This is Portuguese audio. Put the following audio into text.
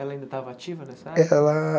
Ela ainda estava ativa nessa época? Ela